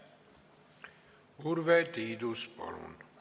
Urve Tiidus, palun!